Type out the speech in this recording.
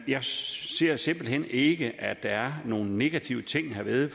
jeg ser simpelt hen ikke at der er nogen negative ting herved